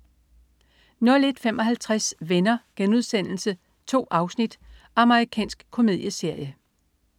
01.55 Venner.* 2 afsnit. Amerikansk komedieserie